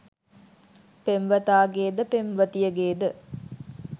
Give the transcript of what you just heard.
පෙම්වතාගේ ද පෙම්වතියගේ ද